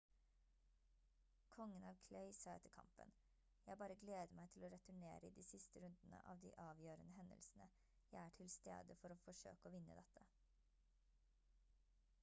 kongen av clay sa etter kampen: «jeg bare gleder meg til å returnere i de siste rundene av de avgjørende hendelsene. jeg er til stede for å forsøke å vinne dette»